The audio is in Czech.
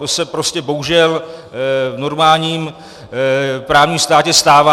To se prostě bohužel v normálním právním státě stává.